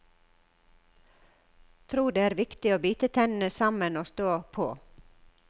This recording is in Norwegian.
Tror det er viktig å bite tennene sammen og stå på.